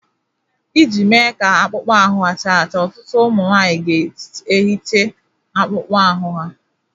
Iji mee ka akpụkpọ ahụ ha cha cha, ọtụtụ ụmụ nwanyị ga-ehicha akpụkpọ ahụ ha